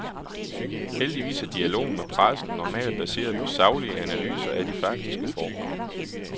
Heldigvis er dialogen med pressen normalt baseret på saglige analyser af de faktiske forhold.